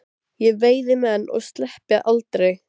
Ég veiði menn og sleppi aldrei.